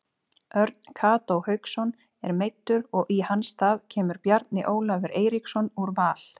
Örn Kató Hauksson er meiddur og í hans stað kemur Bjarni Ólafur Eiríksson úr Val.